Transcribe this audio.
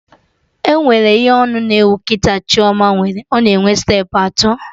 Enwere ihe onu na-ewu kịta Chioma nwere, ọ na enwe steepụ atọ